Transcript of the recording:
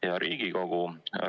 Hea Riigikogu!